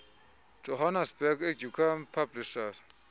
johannesburg educum publishers